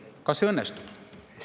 Kas see õnnestub?